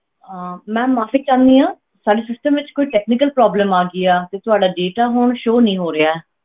ਅਹ ma'am ਮਾਫ਼ੀ ਚਾਹੁੰਦੀ ਹਾਂ ਸਾਡੇ system ਵਿੱਚ ਕੋਈ technical problem ਆ ਗਈ ਆ ਤੇ ਤੁਹਾਡਾ data ਹੁਣ show ਨੀ ਹੋ ਰਿਹਾ,